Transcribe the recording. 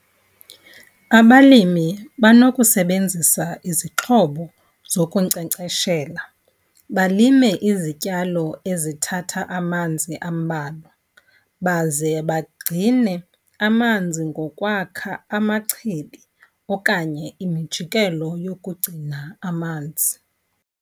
Abalimi banokusebenzisa izixhobo zokunkcenkceshela, balime izityalo ezithatha amanzi ambalwa, baze bagcine amanzi ngokwakha amachibi okanye imijikelo yokugcina amanzi.